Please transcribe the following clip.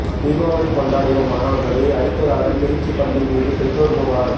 தீபாவளி கொண்டாடிய மாணவர்களை அடித்ததாக திருச்சி பள்ளி மீது பெற்றோர் புகார்